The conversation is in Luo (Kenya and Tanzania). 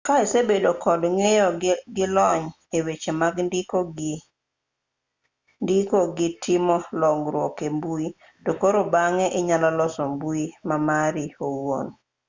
ka isebedo kod ng'eyo gi lony e weche mag ndiko gi timo loruoge e mbui to koro bang'e inyalo loso mbui ma mari owuon